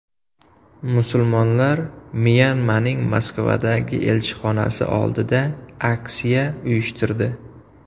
Musulmonlar Myanmaning Moskvadagi elchixonasi oldida aksiya uyushtirdi.